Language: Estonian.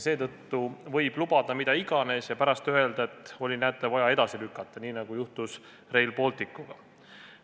Seetõttu võib lubada mida iganes ja pärast öelda, et oli vaja, näete, edasi lükata, nii nagu juhtus Rail Balticuga.